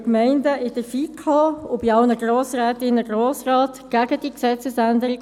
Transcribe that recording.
2013 lobbyierten die Gemeinden in der FiKo und bei allen Grossrätinnen und Grossräten gegen diese Gesetzesänderung.